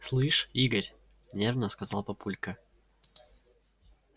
слышь игорь нервно сказал папулька